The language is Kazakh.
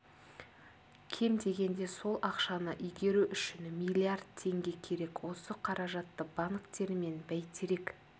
кем дегенде сол ақшаны игеру үшін миллиард теңге керек осы қаражатты банктер мен бәйтерек